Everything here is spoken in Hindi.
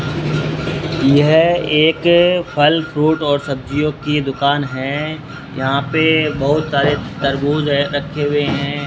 यह एक फल फ्रूट और सब्जियों की दुकान है यहां पे बहुत सारे तरबूज है रखे हुए है।